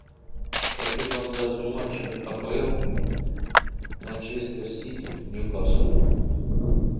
хочу трансляцию матча апл манчестер сити ньюкасл